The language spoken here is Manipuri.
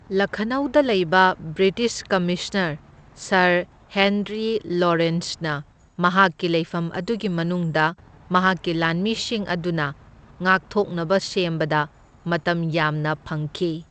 ꯂꯈꯅꯧꯗ ꯂꯩꯕ ꯕ꯭ꯔꯤꯇꯤꯁ ꯀꯃꯤꯁꯅꯔ ꯁꯔ ꯍꯦꯟꯔꯤ ꯂꯣꯔꯦꯟꯁꯅ ꯃꯍꯥꯛꯀꯤ ꯂꯩꯐꯝ ꯑꯗꯨꯒꯤ ꯃꯅꯨꯡꯗ ꯃꯍꯥꯛꯀꯤ ꯂꯥꯟꯃꯤꯁꯤꯡ ꯑꯗꯨꯅ ꯉꯥꯛꯊꯣꯛꯅꯕ ꯁꯦꯝꯕꯗ ꯃꯇꯝ ꯌꯥꯝꯅ ꯐꯪꯈꯤ꯫